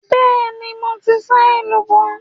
Bẹ́ẹ̀ni, mo ti sá èlùbọ́.